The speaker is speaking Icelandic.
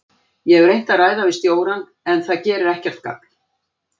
Ég hef reynt að ræða við stjórann en það gerir ekkert gagn.